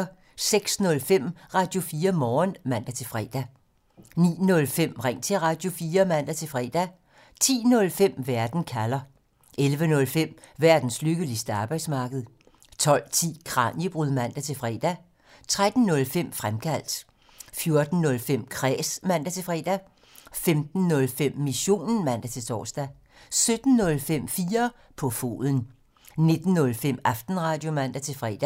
06:05: Radio4 Morgen (man-fre) 09:05: Ring til Radio4 (man-fre) 10:05: Verden kalder (man) 11:05: Verdens lykkeligste arbejdsmarked (man) 12:10: Kraniebrud (man-fre) 13:05: Fremkaldt (man) 14:05: Kræs (man-fre) 15:05: Missionen (man-tor) 17:05: 4 på foden (man) 19:05: Aftenradio (man-fre)